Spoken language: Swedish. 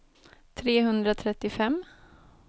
trehundratrettiofem